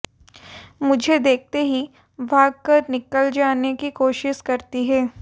मुझे देखते ही भागकर निकल जाने की कोशिश करती है